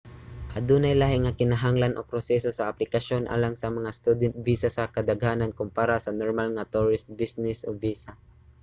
adunay lahi nga kinahanglan o proseso sa aplikasyon alang sa mga student visa sa kadaghanan kompara sa normal nga tourist o business visa